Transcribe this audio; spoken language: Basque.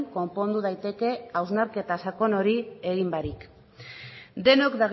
konpondu daiteke hausnarketa sakon hori egin barik denok